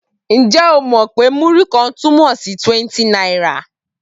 Ǹjẹ́ o mọ̀ wí pé Múrí-kan túmọ̀ sí 20 náírà?